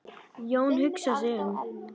Jón hugsar sig um.